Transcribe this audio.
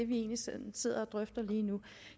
vi egentlig sådan sidder og drøfter lige nu